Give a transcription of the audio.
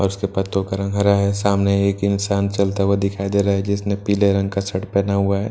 और उसके पत्तों का रंग हरा है सामने एक इंसान चलता हुआ दिखाई दे रहा है जिसने पीले रंग का शर्ट पहना हुआ है ।